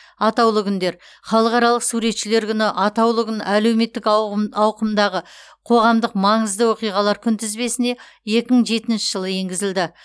атаулы күндер халықаралық суретшілер күні атаулы күн әлемдік ауқымдағы қоғамдық маңызды оқиғалар күнтізбесіне екі мың жетінші жылы енгізілді